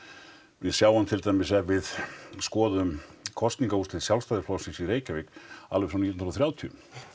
við sjáum til dæmis ef við skoðum kosningaúrslit Sjálfstæðisflokksins í Reykjavík alveg frá nítján hundruð og þrjátíu